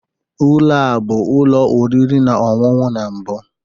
Ụlọ a bụ ụlọ oriri na ọṅụṅụ na mbụ?